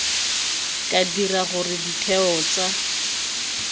ka dira gore ditheo tsa